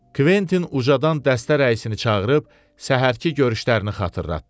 Kventin ucadan dəstə rəisini çağırıb səhərki görüşlərini xatırlatdı.